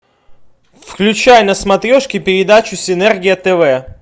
включай на смотрешке передачу синергия тв